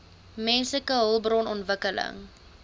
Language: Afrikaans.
menslike hulpbron ontwikkeling